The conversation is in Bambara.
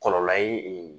Kɔlɔlɔ ye